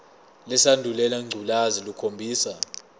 lesandulela ngculazi lukhombisa